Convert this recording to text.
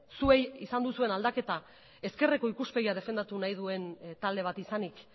zuei izan duzuen aldaketa ezkerreko ikuspegia defendatu nahi duen talde bat izanik